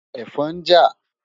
Ẹ̀fọn ń jà.